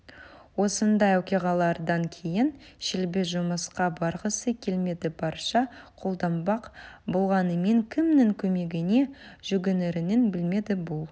осындай оқиғалардан кейін шелби жұмысқа барғысы келмеді бір шара қолданбақ болғанымен кімнің көмегіне жүгінерін білмеді бұл